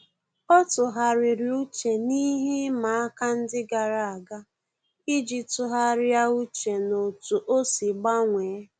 Ọ́ tụ́ghàrị̀rị̀ uche n’íhé ịma aka ndị gàrà ága iji tụ́gharị́a úchè n’otú ọ́ sì gbanwee.